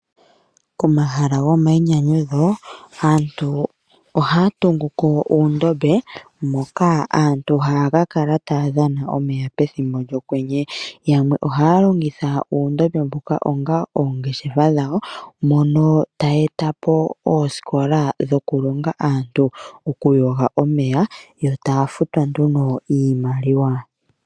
Komahala gomainyanyudho, aantu ohaya tunguko uundombe, moka aantu haya ka kala taya dhana omeya pethimbo lyokwenye, yamwe ohaya longitha uundombe mbuka onga oongeshefa dhawo, moka taya etapo ooskoka dhoku longa aantu oku yoga omeya, yo taya futwa nduno iimaliwa.